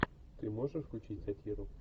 ты можешь включить сатиру